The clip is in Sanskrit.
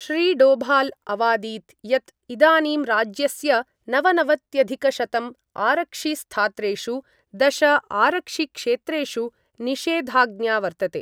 श्रीडोभाल अवादीत् यत् इदानीं राज्यस्य नवनवत्यधिकशतम् आरक्षिस्थात्रेषु दशआरक्षिक्षेत्रेषु निषेधाज्ञा वर्तते।